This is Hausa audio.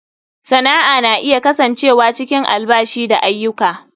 Sana'a na iya kasancewa cikin albashi da aiyuka.